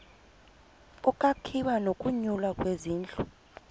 ukwakhiwa nokunyulwa kwezindlu